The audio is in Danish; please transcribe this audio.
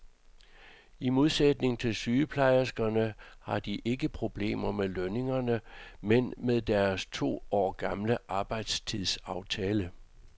I modsætning til sygeplejerskerne har de ikke problemer med lønningerne, men med deres to år gamle arbejdstidsaftale.